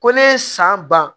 Ko ne ye san ban